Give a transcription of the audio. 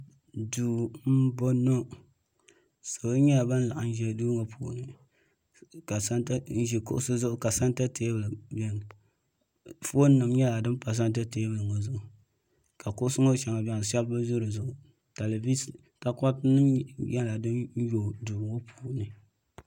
Duu m boŋɔ salo nyɛla ban laɣim ʒi duu ŋɔ puuni n ʒi kuɣusi zuɣu ka santa teebuli niɛni fooni nima nyɛla din pa santa teebuli ŋɔ zuɣu ka kuɣusi ŋɔ sheŋa biɛni sheba bi ʒi di zuɣu telivisa takoriti nyɛla nima nyɛla din yoogi duu ŋɔ puuni.